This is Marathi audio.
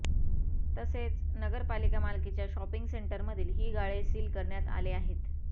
तसेच नगरपालिका मालकीच्या शॉपिंग सेंटर मधील ही गाळे सील करण्यात आले आहेत